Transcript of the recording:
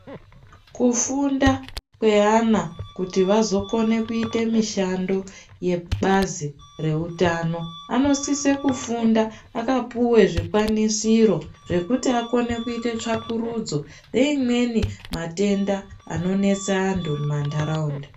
Kufunda kweana kuti vazokone kuite mishando yebazi reutano anosise kufunda akapuwe zvikwanisiro zvekuti akone kuite tsvakururudzo yeimweni matenda anonesa antu mumanharaunda.